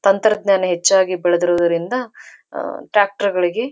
ತಂತ್ರಜ್ಞಾನ ಹೆಚ್ಚಾಗಿ ಬೆಳೆದ್ರುವುದರಿಂದ ಅಹ್ ಅಹ್ ಟ್ರ್ಯಾಕ್ಟರ್ಗಳಿಗೆ --